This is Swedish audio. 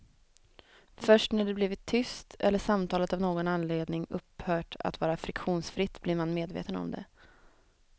Först när det blivit tyst eller samtalet av någon anledning upphört att vara friktionsfritt blir man medveten om det.